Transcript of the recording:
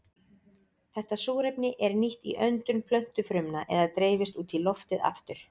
Þetta súrefni er nýtt í öndun plöntufrumna eða dreifist út í loftið aftur.